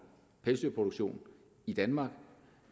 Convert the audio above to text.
pelsdyrproduktion i danmark